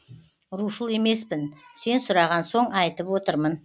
рушыл емеспін сен сұраған соң айтып отырмын